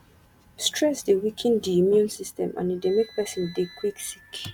stress dey weaken di immune system and e dey make person dey quick sick